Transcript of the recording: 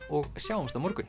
og sjáumst á morgun